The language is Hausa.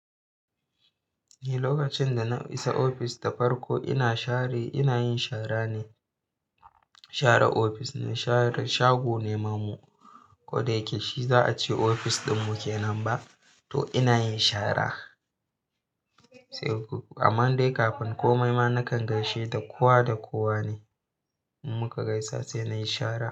Ni lokacin dana isa ofis da farko ina share, inayin shara ne. Share ofis ne, share shago ne ma mu. Koda yake shi za'a ce ofis ɗin muke nan ba, to inayin shara. Sai gobe. Amma dai kafin komai ma nakan gaishe da kowa da kowa ne. Muka gaisa sai nayi shara.